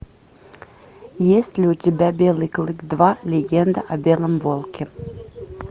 есть ли у тебя белый клык два легенда о белом волке